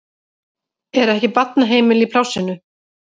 Er ekki barnaheimili í plássinu?